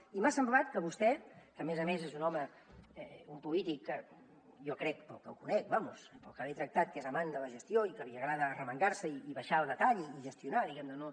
i m’ha semblat que vostè que a més a més és un home un polític jo crec pel que el conec vamos pel que l’he tractat que és amant de la gestió i que li agrada arremangar se i baixar al detall i gestionar diguem ne